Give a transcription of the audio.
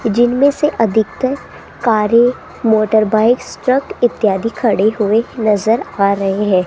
जिनमें से अधिकत्तर कारे मोटरबाइक्स ट्रक इत्यादि खड़े हुए नजर आ रहे है।